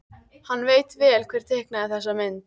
Hann veit vel hver teiknaði þessa mynd.